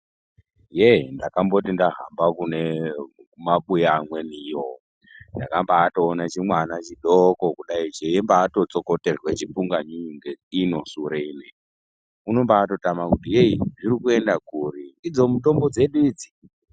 Yee ndakamboti ndahamba kune mabuya amweni iyo ndakabaatoone chimwana chidoko kudai cheyibatotsokotorwe chipunganyunyu ngeino sure ino ndochobatotama kuti zvirikuenda kuri idzo mitombo dzedu idzi.